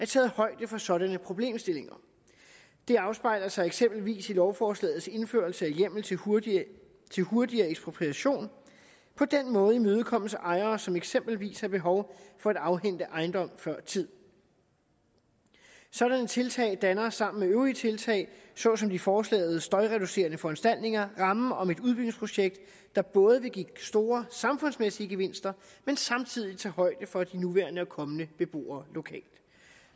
taget højde for sådanne problemstillinger det afspejler sig eksempelvis i lovforslagets indførelse af hjemmel til hurtigere hurtigere ekspropriation på den måde imødekommes ejere som eksempelvis har behov for at afhænde ejendom før tid sådanne tiltag danner sammen med øvrige tiltag såsom i forslaget støjreducerende foranstaltninger rammen om et udbygningsprojekt der både vil give store samfundsmæssige gevinster men samtidig tage højde for de nuværende og kommende beboere lokalt